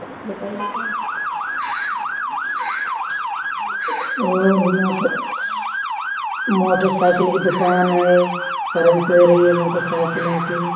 और इहाँ पर मोटरसाइकिल की दुकान है सर्विस हो रही है मोटरसाइकिलों की --